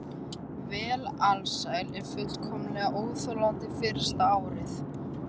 Var alsæl og fullkomlega óþolandi fyrsta árið.